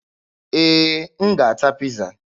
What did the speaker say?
Ee, m ga-ata Piiza.